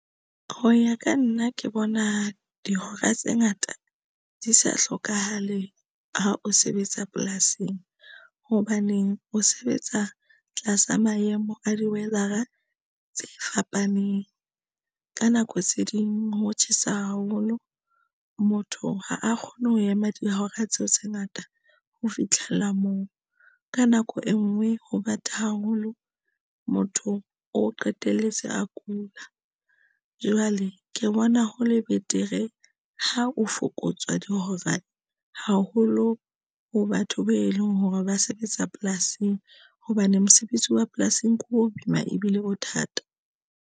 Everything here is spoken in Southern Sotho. Ho ya ka nna ke bona dihora tse ngata di sa hlokahale. Ha o sebetsa polasing, hobaneng o sebetsa tlasa maemo a di-weather-a tse fapaneng. Ka nako tse ding ho tjhesa haholo motho ha a kgone ho ema dihora tseo tse ngata. Ho fitlhela moo ka nako e nngwe ho bata haholo mothong o qetelletse a kula. Jwale ke bona ho le betere ha o fokotswa dihora haholo ho batho be leng hore ba sebetsa polasing, hobane mosebetsi wa polasing ke ho boima ebile o thata.